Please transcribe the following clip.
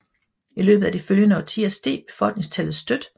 I løbet af de følgende årtier steg befolkningstallet støt